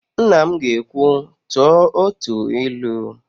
Nna m ga-ekwu, "tụọ otu ilu"!